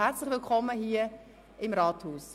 Herzlich willkommen hier im Rathaus!